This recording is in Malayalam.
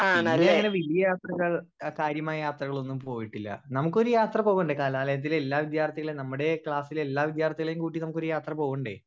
സ്പീക്കർ 1 പിന്നെ അങ്ങനെ വല്യ യാത്രകൾ ആ കാര്യമായി യാത്രകളൊന്നും പോയിട്ടില്ല നമ്മുക്കൊരു യാത്ര പോകണ്ടേ കാലാലയത്തിലെ എല്ലാ വിദ്യാർത്ഥികളും നമ്മുടെ ക്ലാസ്സിലെ എല്ലാ വിദ്യാർത്ഥികളേം കൂട്ടി നമ്മുക്കൊരു യാത്ര പോവണ്ടേ